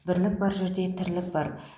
бірлік бар жерде тірлік бар